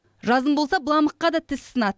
жазым болса быламыққа да тіс сынады